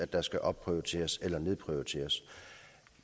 der skal opprioriteres eller nedprioriteres